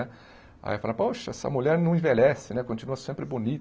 Aí eu falava, poxa, essa mulher não envelhece né, continua sempre